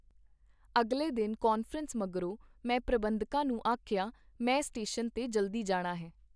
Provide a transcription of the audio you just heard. ਅਗਲੇ ਦਿਨ ਕਾਨਫਰੰਸ ਮਗਰੋ ਮੈਂ ਪ੍ਰਬੰਧਕਾਂ ਨੂੰ ਆਖਿਆ, ਮੈਂ ਸਟੇਸ਼ਨ ਤੇ ਜਲਦੀ ਜਾਣਾ ਹੈ.